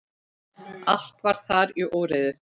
Allt var þar í óreiðu.